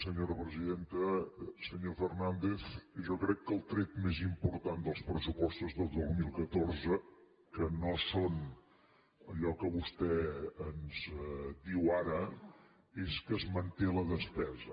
senyor fernàndez jo crec que el tret més important dels pressupostos del dos mil catorze que no són allò que vostè ens diu ara és que es manté la despesa